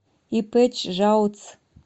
ип чжао ц